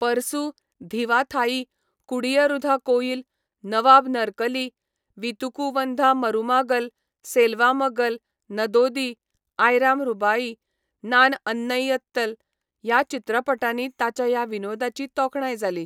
परसू, धीवा थाई, कुडीयरुधा कोयिल, नवाब नरकली, वीतुकू वंधा मरुमागल, सेल्वा मगल, नदोदी, आयराम रूबाई, नान अन्नैयत्तल ह्या चित्रपटांनी ताच्या ह्या विनोदाची तोखणाय जाली.